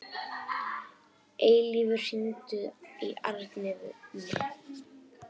Eilífur, hringdu í Arnfinnu.